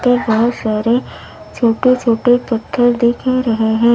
ते बहुत सारे छोटे-छोटे पत्थर दिख रहे हैं।